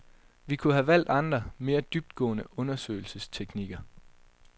Vi kunne have valgt andre, mere dybtgående undersøgelsesteknikker.